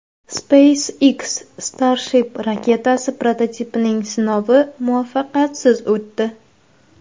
SpaceX Starship raketasi prototipining sinovi muvaffaqiyatsiz o‘tdi.